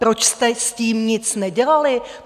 Proč jste s tím nic nedělali?